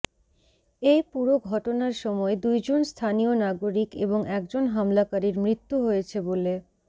এই পুরো ঘটনার সময় দুইজন স্থানীয় নাগরিক এবং একজন হামলাকারীর মৃত্যু হয়েছে বলে